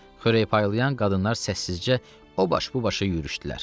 Xörək paylayan qadınlar səssizcə o baş, bu başa yürüşdülər.